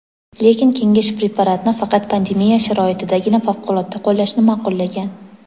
Lekin kengash preparatni faqat pandemiya sharoitidagina favqulodda qo‘llashni ma’qullagan.